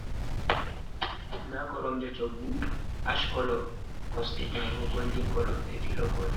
Nda koromje, hoggu ash kolo kosɗe bo goldin kolo be filo gotel.